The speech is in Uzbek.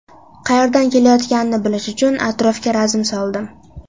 Qayerdan kelayotganini bilish uchun atrofga razm soldim.